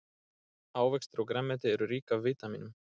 Ávextir og grænmeti eru rík af vítamínum.